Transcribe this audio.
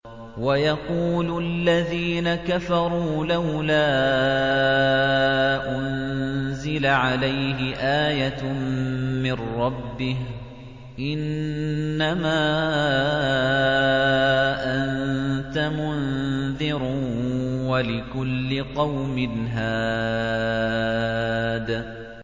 وَيَقُولُ الَّذِينَ كَفَرُوا لَوْلَا أُنزِلَ عَلَيْهِ آيَةٌ مِّن رَّبِّهِ ۗ إِنَّمَا أَنتَ مُنذِرٌ ۖ وَلِكُلِّ قَوْمٍ هَادٍ